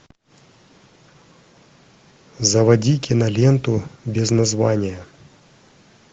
заводи киноленту без названия